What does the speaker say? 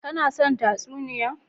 Ka no son tatsuniya?